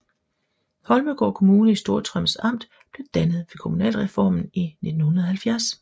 Holmegaard Kommune i Storstrøms Amt blev dannet ved kommunalreformen i 1970